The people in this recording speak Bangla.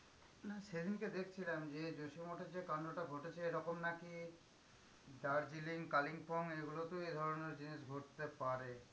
না সেদিনকে দেখছিলাম যে, যে যোশীমঠে যে কান্ডটা ঘটেছে এরকম নাকি দার্জিলিং, কালিম্পঙ এগুলোতেও এ ধরণের জিনিস ঘটতে পারে।